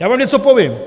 Já vám něco povím.